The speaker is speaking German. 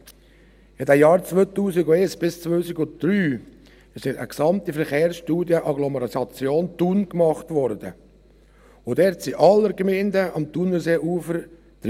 In den Jahren 2001 bis 2003 wurde eine gesamte Verkehrsstudie «Agglomeration Thun» gemacht, und dort waren alle Gemeinden am Thunerseeufer dabei.